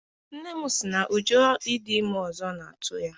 Nne m si na ụjọ ịdị ime ọzọ na-atụ ya.